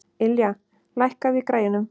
Ylja, lækkaðu í græjunum.